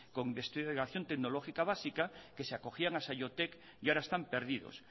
con investigación tecnológica básica que se acogían a saiotek y ahora están perdidos